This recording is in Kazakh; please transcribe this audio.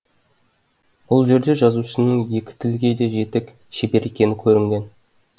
бұл жерде жазушының екі тілге де жетік шебер екені көрінген